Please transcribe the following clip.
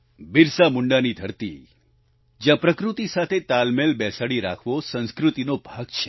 બિરસા મુંડાની ઘરતી જ્યાં પ્રકૃતિ સાથે તાલમેલ બેસાડી રાખવો સંસ્કૃતિનો ભાગ છે